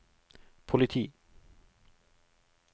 politi